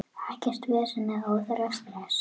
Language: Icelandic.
Ekkert vesen eða óþarfa stress.